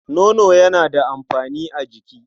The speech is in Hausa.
Nono yana da amfani a jiki.